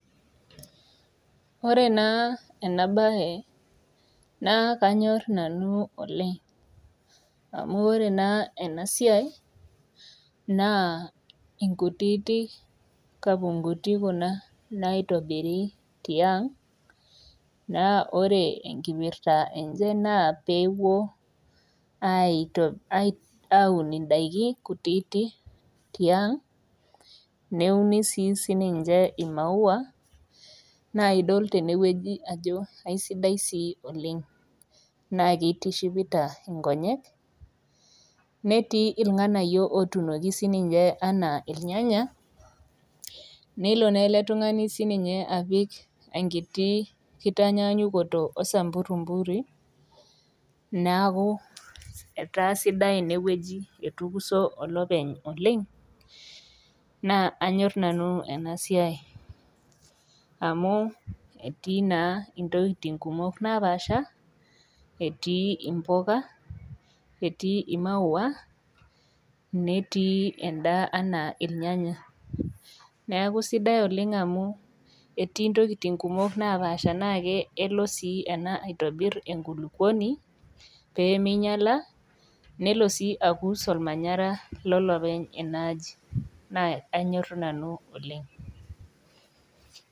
Ore naa ena baye naa kanyorr nanu oleng amu ore naa ena siai naa inkutitik kapongoti kuna naitobiri tiang naa ore enkipirta enche naa peepuo aito aun indaiki kutiti tiang neuni sii sininche imaua naidol tenewueji ajo aisidai sii oleng naa keitishipita inkonyek netii ilng'anayio otunoki sininche anaa ilnyanya nelo naa ele tung'ani sininche apik enkiti kitanyanyukoto osamburimburi naaku etaa sidai inewueji etukuso olopeny oleng naa anyorr nanu ena siai amu etii naa intokiting kumok napaasha etii impoka etii imaua netii endaa enaa ilnyanya neaku sidai oleng amu etii intokiting kumok napaasha naake kelo sii ena aitobirr enkulukuoni pee meinyiala nelo sii akus olmanyara lolopeny enaaji naa anyorr nanu oleng.